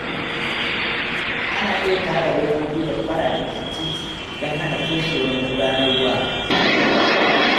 Ana iya tara robobi da kwalabe a titi don hana toshewar magudanan ruwa.